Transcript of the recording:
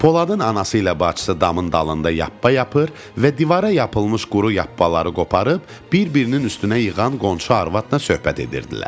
Poladın anası ilə bacısı damın dalında yappa yapır və divara yapılmış quru yappaları qoparıb bir-birinin üstünə yığan qonşu arvadla söhbət edirdilər.